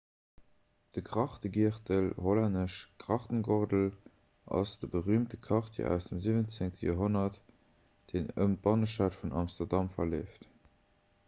de grachtegiertel hollännesch: grachtengordel ass de berüümte quartier aus dem 17. joerhonnert deen ëm d'bannestad vun amsterdam verleeft